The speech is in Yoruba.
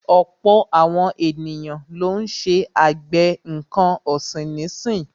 Ọ̀pọ̀ àwọn ènìyàn lọ́ ń ṣe àgbẹ̀ nǹkan ọ̀sìn nísì.